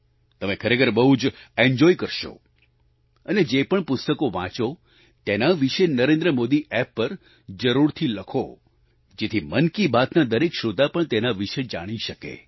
તમે ખરેખર બહુ જ એન્જોય કરશો અને જે પણ પુસ્તકો વાંચો તેના વિશે નરેન્દ્ર મોદી એપ પર જરૂરથી લખો જેથી મન કી બાતના દરેક શ્રોતા પણ તેના વિશે જાણી શકે